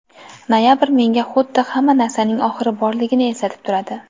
Noyabr menga xuddi hamma narsaning oxiri borligini eslatib turadi.